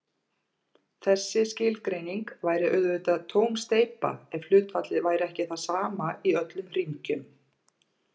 Þessi skilgreining væri auðvitað tóm steypa ef hlutfallið væri ekki það sama í öllum hringjum.